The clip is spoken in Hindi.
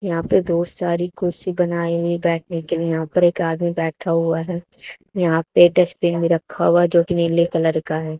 यहां पे बहुत सारी कुर्सी बनाई हुई बैठने के लिए यहां पर एक आदमी बैठा हुआ है यहां पे डस्टबिन भी रखा हुआ जोकि नीले कलर का है।